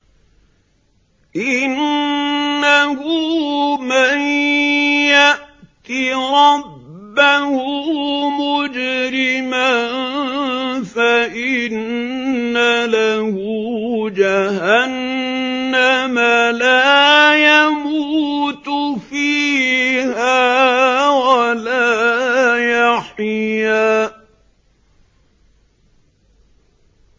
إِنَّهُ مَن يَأْتِ رَبَّهُ مُجْرِمًا فَإِنَّ لَهُ جَهَنَّمَ لَا يَمُوتُ فِيهَا وَلَا يَحْيَىٰ